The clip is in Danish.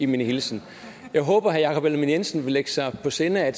min hilsen jeg håber herre jakob ellemann jensen vil lægge sig på sinde at